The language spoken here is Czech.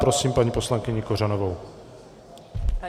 Prosím paní poslankyni Kořanovou.